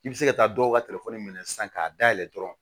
I bɛ se ka taa dɔw ka telefɔni minɛ sisan k'a dayɛlɛ dɔrɔn